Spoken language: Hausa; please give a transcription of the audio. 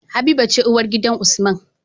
Habiba ce uwar gidan usman